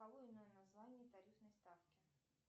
название тарифной ставки